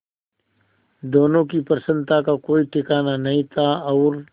दोनों की प्रसन्नता का कोई ठिकाना नहीं था और